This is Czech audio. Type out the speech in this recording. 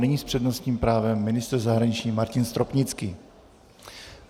Nyní s přednostním právem ministr zahraničí Martin Stropnický.